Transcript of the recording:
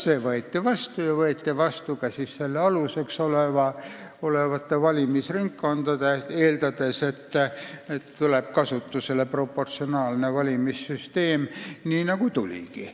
See võeti vastu ja kehtestati valimisringkonnad, eeldades, et tuleb kasutusele proportsionaalne valimissüsteem, nii nagu läkski.